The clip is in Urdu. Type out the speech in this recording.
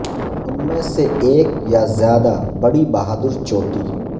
ان میں سے ایک یا زیادہ بڑی بہادر چوٹی